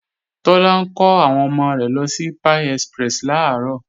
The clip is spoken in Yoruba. Tọ́lá ń kọ́ àwọn ọmọ rẹ̀ lọ sí Pie Express làárọ̀